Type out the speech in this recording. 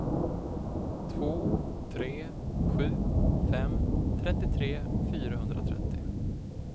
två tre sju fem trettiotre fyrahundratrettio